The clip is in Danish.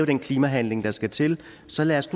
den klimahandling der skal til så lad os